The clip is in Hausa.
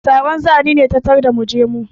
Taron zani ne ta tarda mu je mu.